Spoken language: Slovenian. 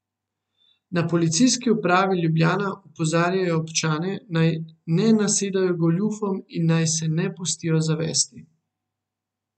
Na policijski upravi Ljubljana opozarjajo občane, naj ne nasedajo goljufom in naj se ne pustijo zavesti.